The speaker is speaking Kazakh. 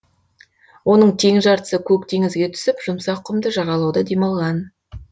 оның тең жартысы көк теңізге түсіп жұмсақ құмды жағалауда демалған